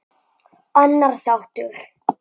Annar þáttur